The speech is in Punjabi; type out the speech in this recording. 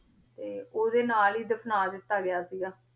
ਆ ਤੇ ਓਦੇ ਨਾਲ ਈ ਦਫਨਾ ਦਿਤਾ ਗਯਾ ਸੀਗ